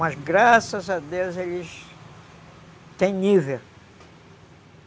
Mas graças a Deus eles têm nível.